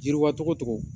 Yiriwa cogo tɔgɔ